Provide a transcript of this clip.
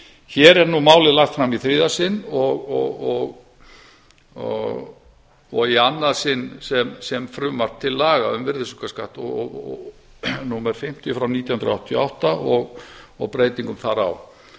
hér er nú málið lagt fram í þriðja sinn og í annað sinn sem frumvarp til laga um virðisaukaskatt númer fimmtíu nítján hundruð áttatíu og átta og breytingu þar á